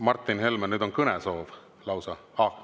Martin Helmel on nüüd kõnesoov lausa.